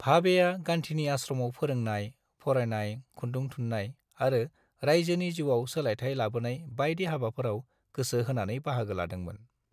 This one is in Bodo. भाबेआ गान्धीनि आश्रमाव फोरोंनाय, फरायनाय, खुन्दुं थुननाय आरो राइजोनि जिउआव सोलायथाय लाबोनाय बायदि हाबाफोराव गोसो होनानै बाहागो लादोंमोन।